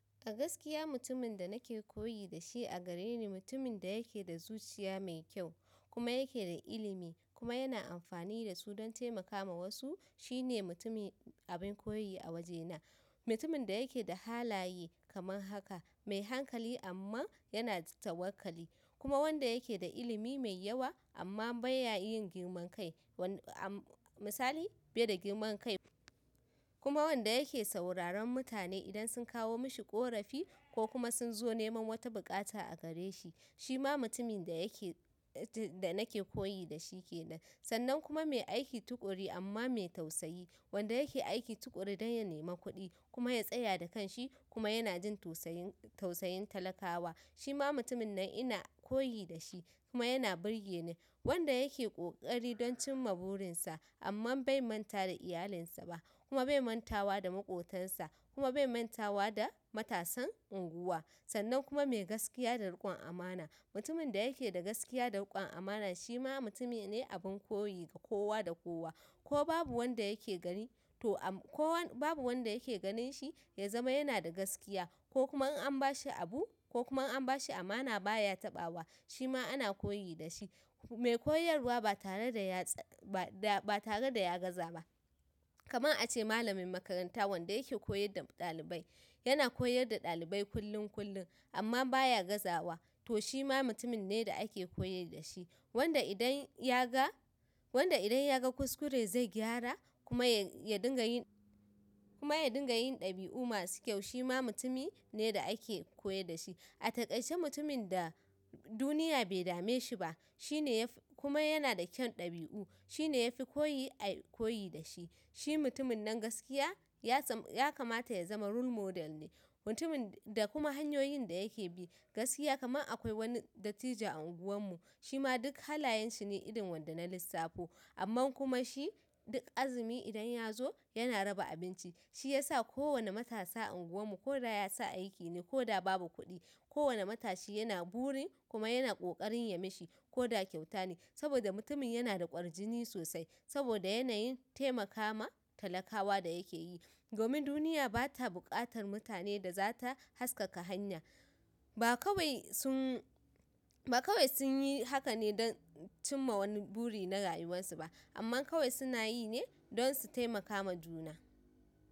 A gaskiya mutumin da nake koyi da shi a gare ni mutumin da yake da zuciya mai kyau kuma yake da ilimi kuma yana amfani da su don taimaka ma wasu shine mutumi abin koyi a wajena. Mutumin da yake da halaye kaman haka, mai hankali amma yana tawakkali kuma wanda yake da ilimi mai yawa amma ba ya yin girman kai wanda misali bai da girman kai kuma wanda yake sauraron mutane idan sun kawo mashi ƙorafi ko kuma sun zo nema wata buƙata a gareshi shi ma mutumin da yake da nake koyi da shi ke nan. Sannan kuma mai aiki tuƙuru amma mai tausayi, wanda yake aiki tuƙuru don ya nemi kuɗi kuma ya tsaya da kanshi kuma yana jin tausayin tausayin talakawa shi ma mutumin nan ina koyi da shi kuma yana burge ni. Wanda yake ƙoƙari don cimma burinsa amma bai manta da iyalinsa ba kuma bai manta wa da maƙotansa kuma bai manta wa da matasan unguwa. Sannan kuma mai gaskiya da riƙon amana, mutumin da yake da gaskiya da riƙon amana shi ma mutumi ne abun koyi ga kowa da kowa ko babu wanda yake gari to ko babu wanda yake ganin shi ya zama yana da gaskiya ko kuma an ba shi abu ko kuma an ba shi amana baya taɓa wa shi ma ana koyi da shi. Mai koyarwa ba tare da ya ba tare da ya gaza ba. Kaman a ce malamin makaranta wanda yake koyar da ɗalibai, yana koyar da ɗalibai kullum kullum amma baya gazawa to shi ma mutumin ne da ake koyi da shi. Wanda idan ya ga wanda idan ya ga kuskure zai gyara kuma ya dinga yin kuma ya dinga yin ɗabi'u masu kyau shi ma mutumi ne da ake koyi da shi. A taƙaice mutumin da duniya bai dame shi ba shine kuma yana da kyan ɗabi'u shine yafi koyi a koyi da shi. Shi mutumin nan gaskiya ya kamata ya zama role model ne. Mutumin da kuma hanyoyin da yake bi gaskiya kaman akwai wani dattijo a unguwan mu shi ma duk halayen shi ne irin wanda na lissafo amman kuma shi duk azumi idan ya zo yana raba abinci. Shi yasa kowane matasa a unguwan mu ko da ya sa aiki ne ko da babu kuɗi, kowani matashi yana burin kuma yana ƙoƙarin ya mashi ko da kyauta ne saboda mutumin yana da ƙwarjini sosai saboda yanayin taimakawa talakawa da yake yi. Domin duniya ba ta buƙatar mutane da za ta haskaka hanya. Ba kawai sun ba kawai sun yi haka ne don cimma wani buri na rayuwarsu ba amma kawai suna yi ne don su taimakama juna.